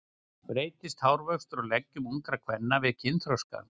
Breytist hárvöxtur á leggjum ungra kvenna við kynþroska?